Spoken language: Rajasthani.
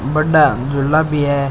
बड़ा झूला भी है।